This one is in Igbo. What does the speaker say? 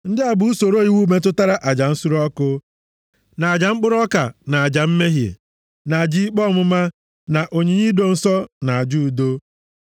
Ndị a bụ usoro iwu metụtara aja nsure ọkụ, na aja mkpụrụ ọka, na aja mmehie, na aja ikpe ọmụma, na onyinye ido nsọ, na aja udo.